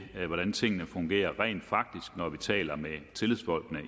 hvordan tingene fungerer når vi taler med tillidsfolkene og